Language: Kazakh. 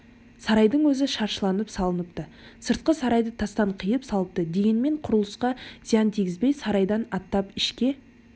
сарайдың өзі шаршылап салыныпты сыртқы сарайды тастан қиып салыпты дегенмен құрылысқа зиян тигізбей сарайдан аттап ішке